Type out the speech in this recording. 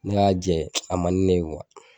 Ne y'a jɛ a man di ne ye kuwa